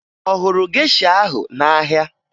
Ọ hụrụ gesha ahụ n'ahịa?